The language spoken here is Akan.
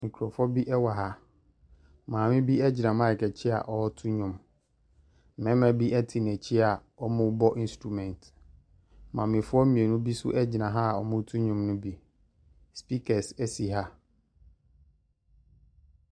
Nkurɔfoɔ bi wɔ ha. Maame bi gyina mic akyi a ɔreto nnwom. Mmarima bi te n'akyi a wɔrebɔ instruments. Maamefoɔ mmienu bi nso gyina ha a wɔreto nnowm no bi. Speakers si ha.